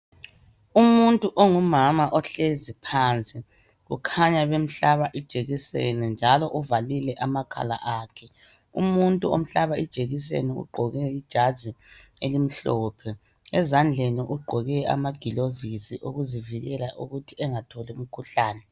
Umuntu ongumama ohlezi phansi ukhanya bemhlaba ijekiseni njalo uvalile amakhala akhe, umuntu omhlaba ijekiseni ugqoke ijazi elimhlophe ezandleni ugqoke amagilovisi okuzivikela ukuthi engatholi umkhuhlane.